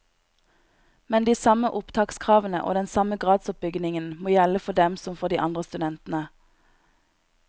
Men de samme opptakskravene og den samme gradsoppbyggingen må gjelde for dem som for de andre studentene.